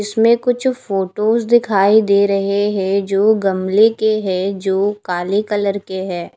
इसमें कुछ फोटोस दिखाई दे रहे हैं जो गमले के हैं जो काले कलर के हैं।